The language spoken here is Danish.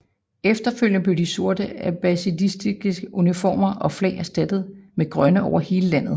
Efterfølgende blev de sorte abbasidiske uniformer og flag erstattet med grønne over hele landet